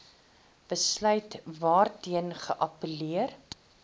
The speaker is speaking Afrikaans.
besluit waarteen geappelleer